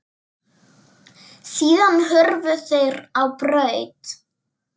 Síðan hurfu þeir á braut.